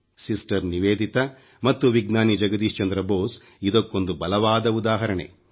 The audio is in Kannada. ಸಿಸ್ಟರ್ ನಿವೇದಿತಾ ಮತ್ತು ವಿಜ್ಞಾನಿ ಜಗದೀಶ್ ಚಂದ್ರ ಬೋಸ್ ಇದಕ್ಕೊಂದು ಬಲವಾದ ಉದಾಹರಣೆ